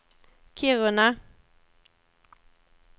Kiruna